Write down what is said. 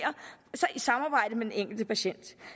i samarbejde med den enkelte patient